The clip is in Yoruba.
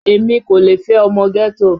Èmi kò lè fẹ́ ọmọ ghetto